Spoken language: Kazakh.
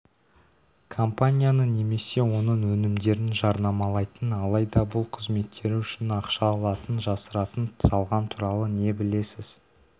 компанияны немесе оның өнімдерін жарнамалайтын алайда бұл қызметтері үшін ақша алатынын жасыратын жалған туралы не білесіз